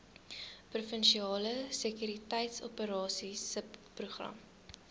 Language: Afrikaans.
provinsiale sekuriteitsoperasies subprogram